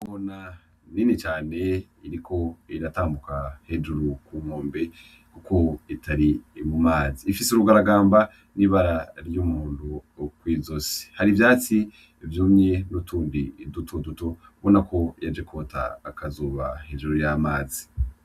Ingona nini cane iriko iratambuka hejuru ku nkombe kuko itari mu mazi. Ifise urugaragamba n'ibara ry'umuhondo kw'izosi. Hari ivyatsi vyumye n'utundi dutoduto, ubonako yaje kwota akazuba hejuru y'amazi.